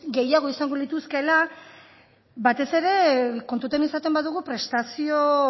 gehiago izango lituzkeela batez ere kontutan izaten badugu prestazio